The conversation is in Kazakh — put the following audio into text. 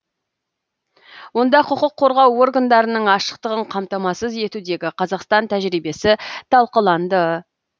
онда құқық қорғау органдарының ашықтығын қамтамасыз етудегі қазақстан тәжірибесі талқыланды